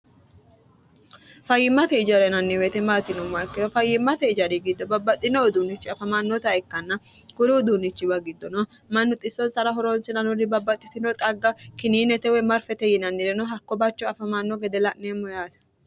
fayyimmate ijarena yinaniweete maati yinomma ikkeno fayyimmate ijari giddo babbaxxino uduunichi afamannota ikkanna guru uduunichiwa giddono mannuxxissoon sara horoonsinanurri babbaxxitino xagga kininetewoy marfete yinannireno hakko bacho afamanno gede la'neemmo yaati